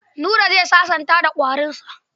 Buba za sasanta da kwarinsa.